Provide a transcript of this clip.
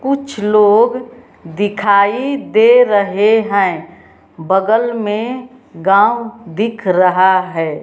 कुछ लोग दिखाई दे रहे हैं बगल में गांव दिख रहा है।